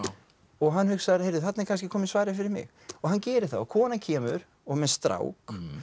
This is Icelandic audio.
og hann hugsar þarna er kannski komið svarið fyrir mig og hann gerir það konan kemur og með strák